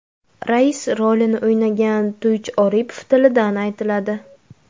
Rais rolini o‘ynagan To‘ychi Oripov tilidan aytiladi.